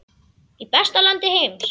Í besta landi heims.